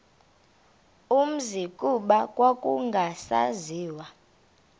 umzi kuba kwakungasaziwa